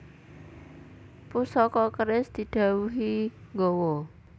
Pusaka keris didhawuhi nggawa